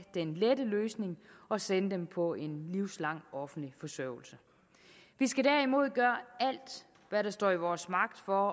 den lette løsning og sende dem på en livslang offentlig forsørgelse vi skal derimod gøre alt hvad der står i vores magt for